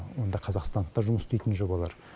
онда қазақстандық та жұмыс істейтін жобалар